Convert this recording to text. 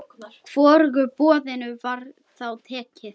Hvorugu boðinu var þá tekið.